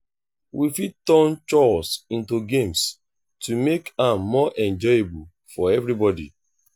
we fit turn chores into games to make am more enjoyable for everybody.